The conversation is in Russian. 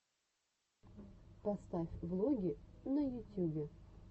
поставь влоги на ютюбе